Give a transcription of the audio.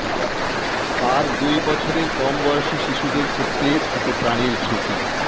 আর দুই বছরের কম বয়সী শিশুদের ক্ষেত্রে থাকে প্রাণের ঝুঁকি